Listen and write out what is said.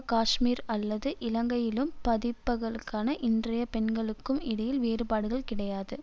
காஷ்மீர் அல்லது இலங்கையிலும் பாதிப்புக்களான இன்றைய பெண்களுக்கும் இடையில் வேறுபாடுகள் கிடையாது